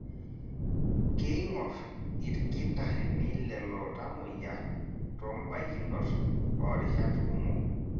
Keingorr ilkitarrini lelo tamoyia toombaikinot oorishat kumok.